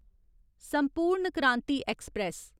संपूर्ण क्रांति ऐक्सप्रैस